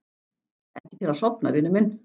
Ekki til að sofna, vinur minn.